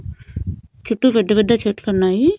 చుట్టూ పెద్ద పెద్ద చెట్లు ఉన్నాయి.